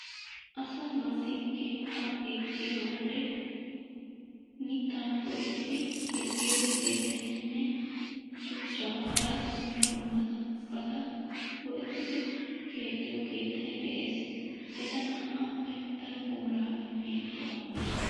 Asaa naati keetta keexiyo wode mittaa go'ettidi keexiyo keettaynne shuchchaa hara dumma dummabatta go'ettidi keexiyoo keettay de'es. Etta na'appe daro puula imiyaage awugge?